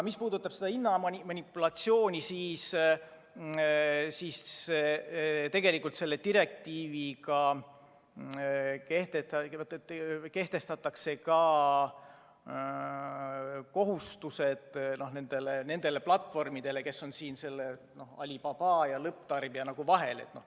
Mis puudutab hinnamanipulatsiooni, siis selle direktiiviga kehtestatakse ka kohustused nendele platvormidele, kes on siin Alibaba ja lõpptarbija vahel.